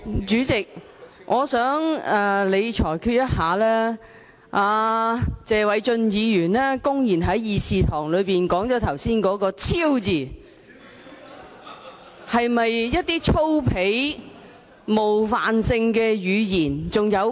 主席，我想你裁決，謝偉俊議員剛才在會議廳內公然說出"超"字，是否屬於粗鄙或冒犯性的言詞？